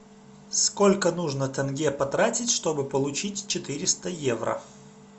сколько нужно тенге потратить чтобы получить четыреста евро